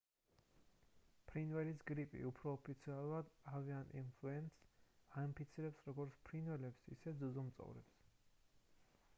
ფრინველის გრიპი უფრო ოფიციალურად avian influenza აინფიცირებს როგორც ფრინველებს ისე ძუძუმწოვრებს